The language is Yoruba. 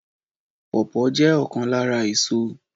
Pawpaw jẹ́ ọ̀kan lára èso